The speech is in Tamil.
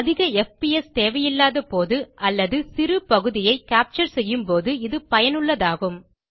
அதிக எஃப்பிஎஸ் தேவையில்லாத போது அல்லது சிறு பகுதியை கேப்சர் செய்யும்போது இது பயனுள்ளதாகும்